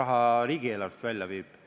raha riigieelarvest välja viib.